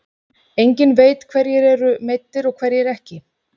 Enginn veit hverjir eru meiddir og hverjir ekki.